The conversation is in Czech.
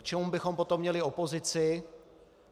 K čemu bychom potom měli opozici?